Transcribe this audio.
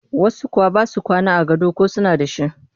Wasu kuwa ba sa kwana a gado ko suna da shi